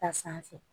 Ta sanfɛ